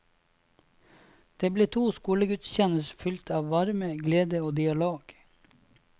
Det ble to skolegudstjenester fylt av varme, glede og dialog.